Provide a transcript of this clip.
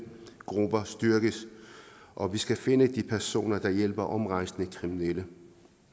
grupper styrkes og vi skal finde de personer der hjælper omrejsende kriminelle